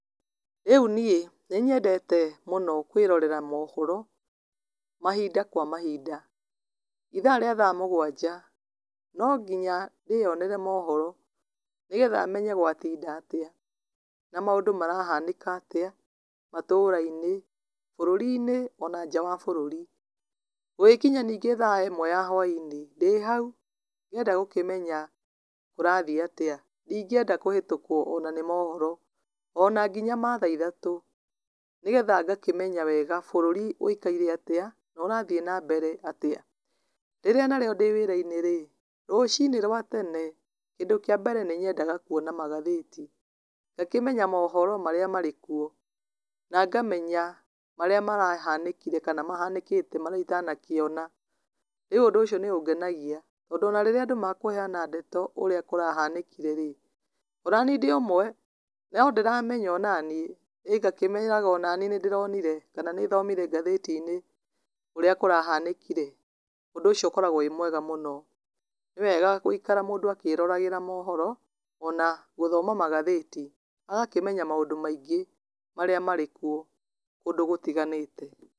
Rĩu niĩ nĩ nyendete mũno kwĩrorera mohoro, mahinda kwa mahinda, ithaa rĩa thaa mũgwanja, no nginya ndĩyonere mohoro, nĩ getha menye gwatinda atĩa, na maũndũ marahanĩka atĩa, matũra-inĩ, bũrũri-inĩ, ona nja wa bũrũri, gũgĩkinya ningĩ thaa ĩmwe ya hwainĩ, ndĩhau ngĩenda gũkĩmenya kũrathiĩ atĩa, ndingĩenda kũhetũkwo ona nĩ mohoro, ona nginya mathaa ithatũ, nĩ geha ngakĩmenya wega bũrũri wĩikaire atĩa, no ũrathiĩ na mbere atia, rĩrĩa na rĩo ndĩwĩrainĩrĩ, rũcinĩ rwa tene, kĩndũ kĩa mbere nĩ nyendaga kuona magathĩti, ngakĩmenya mohoro marĩa marĩkwo, na ngamenya marĩa marahanĩkire kana mahanĩkĩte marĩa itanakĩona, rĩu ũndũ ũcio nĩ ũngenagia, tondũ ona rĩrĩa andũ mekũheana ndeto ũrĩa kũrahanĩkireĩ, o nani ndĩũmwe, no ndĩramenya o naniĩ, ĩ ngakĩmeraga onaniĩ nĩ ndĩronire, kana nĩ thomire ngathĩti-inĩ ũrĩa kũrahanĩkire, ũndũ ũcio ũkoragwo wĩ mwega mũno, nĩ wega gũikara mũndũ akĩroragĩra mohoro, ona gũthoma magathĩti, agakĩmenya maũndũ maingĩ marĩa marĩ kuo, kũndũ gũtiganĩte.